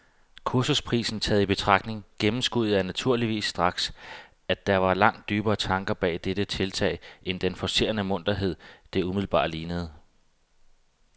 Kursusprisen taget i betragtning gennemskuede jeg naturligvis straks, at der var langt dybere tanker bag dette tiltag end den forcerede munterhed, det umiddelbart lignede.